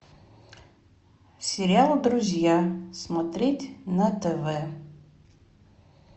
сериал друзья смотреть на тв